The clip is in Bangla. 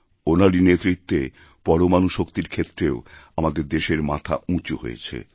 ওঁনারই নেতৃত্বে পরমাণু শক্তির ক্ষেত্রেও আমাদের দেশের মাথা উঁচুহয়েছে